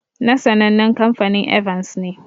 Na sannanen kamfanin "Evans" ne.